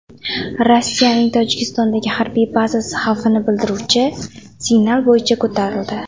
Rossiyaning Tojikistondagi harbiy bazasi xavfni bildiruvchi signal bo‘yicha ko‘tarildi.